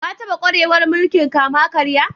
Ka taba kwarewar mulki'n kama-karya?